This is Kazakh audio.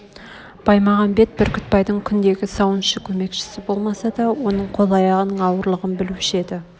баймағамбет бүрктбайдың күндегі сауыншы көмекшсі болмаса да оның қол-аяғының аурулығын білуші еді